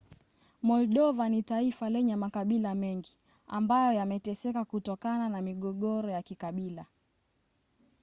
moldova ni taifa lenye makabila mngi ambayo yameteseka kutokana na migogoro ya kikabila